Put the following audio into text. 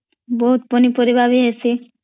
ବହୁତ୍ ପନିପରିବା ବି ହିସୀ